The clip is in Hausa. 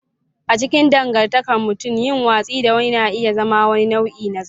A cikin dangantakar mutum, yin watsi da wani na iya zama wani nau'i na zagi.